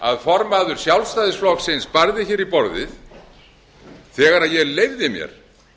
að formaður sjálfstæðisflokksins barði í borðið þegar ég leyfði mér